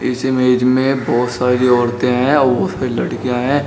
इस इमेज में बहोत सारी औरतें हैं और उसपे लड़कियां है।